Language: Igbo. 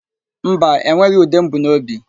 Mba, enweghị ude m bu n'obi.